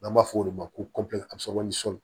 N'an b'a fɔ olu de ma ko